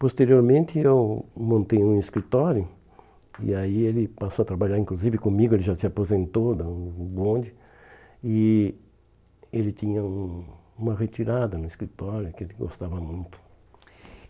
Posteriormente eu montei um escritório e aí ele passou a trabalhar inclusive comigo, ele já se aposentou, da o bonde, e ele tinha um uma retirada no escritório que ele gostava muito.